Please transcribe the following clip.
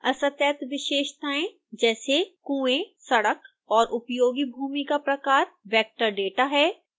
असतत विशेषताएं जैसे कुएं सड़क और उपयोगी भूमि का प्रकार vector data है